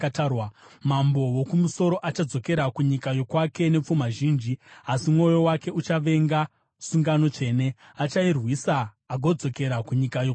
Mambo woKumusoro achadzokera kunyika yokwake nepfuma zhinji, asi mwoyo wake uchavenga sungano tsvene. Achairwisa agodzokera kunyika yokwake.